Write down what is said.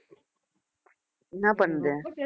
என்ன பண்ணுது